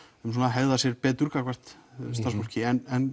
hegða sér betur gagnvart starfsfólki